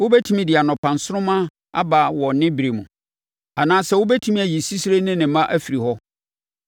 Wobɛtumi de anɔpa nsoromma aba wɔ ne berɛ mu anaasɛ wobɛtumi ayi sisire ne ne mma afiri hɔ?